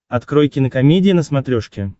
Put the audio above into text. открой кинокомедия на смотрешке